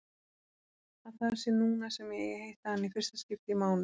Að það sé núna sem ég eigi að hitta hana í fyrsta skipti í mánuð.